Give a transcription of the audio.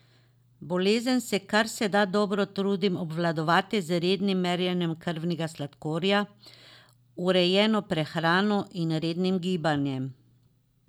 Bolezen se kar se da dobro trudim obvladovati z rednim merjenjem krvnega sladkorja, urejeno prehrano in rednim gibanjem.